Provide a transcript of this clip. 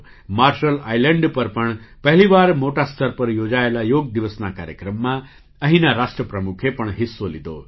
marshal Island પર પણ પહેલી વાર મોટા સ્તર પર યોજાયેલા યોગ દિવસના કાર્યક્રમમાં અહીંના રાષ્ટ્રપ્રમુખે પણ હિસ્સો લીધો